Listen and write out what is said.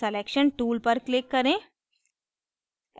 selection tool पर click करें